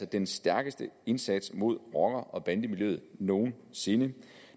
den stærkeste indsats mod rocker bande miljøet nogen sinde